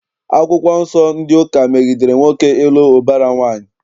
Akwụkwọ Nsọ ndị ụka megidere nwoke ịlụ ụbara nwaanyị.